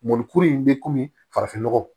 Mɔnikuru in bɛ komi farafinnɔgɔ